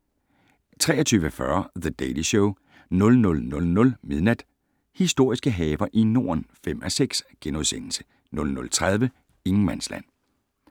23:40: The Daily Show 00:00: Historiske haver i Norden (5:6)* 00:30: Ingenmandsland